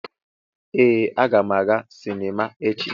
Ee, aga m aga sinima echi.